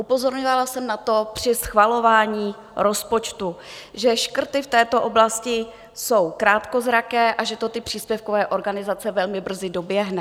Upozorňovala jsem na to při schvalování rozpočtu, že škrty v této oblasti jsou krátkozraké a že to ty příspěvkové organizace velmi brzy doběhne.